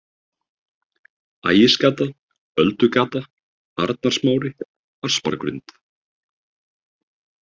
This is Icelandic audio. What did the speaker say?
Ægisgata, Öldugata, Arnarsmári, Aspargrund